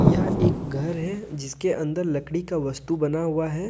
यह एक घर है जिसके अंदर लकड़ी का वस्तु बना हुआ है।